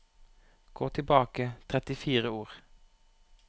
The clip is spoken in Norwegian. Gå tilbake trettifire ord